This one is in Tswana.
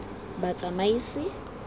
batsamaisi